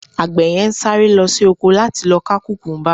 agbe yen sáré lo sí ọkọ la ti lọ ka kukumba